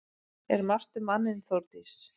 Er margt um manninn Þórdís?